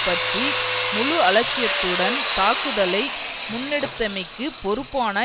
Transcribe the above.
பற்றி முழு அலட்சியத்துடன் தாக்குதலை முன்னெடுத்தமைக்கு பொறுப்பான